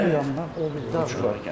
Bizim kənd bu yanındadır, o biri.